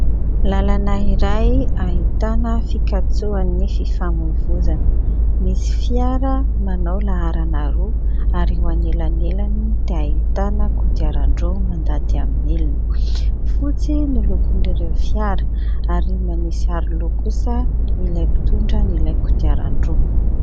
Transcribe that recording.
Lalana iray ahitana fikatsoan'ny fifamoivoizana. Misy fiara manao laharana roa, ary eo anelanelany dia ahitana kodiaran-droa mandady amin'ny milina. Fotsy ny lokon'ireo fiara, ary manisy aroloha kosa ilay mpitondra an'ilay kodiaran-droa.